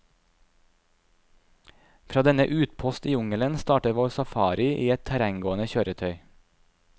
Fra denne utpost i jungelen starter vår safari i et terrenggående kjøretøy.